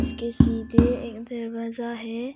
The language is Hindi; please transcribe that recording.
इसके सीधे एक दरवाजा है।